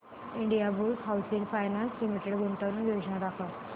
Indiabulls housing finance limited गुंतवणूक योजना दाखव